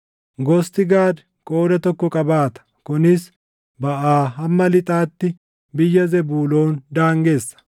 Gosti Gaad qooda tokko qabaata; kunis baʼaa hamma lixaatti biyya Zebuuloon daangessa.